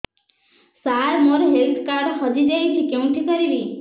ସାର ମୋର health card ହଜି ଯାଇଛି କେଉଁଠି କରିବି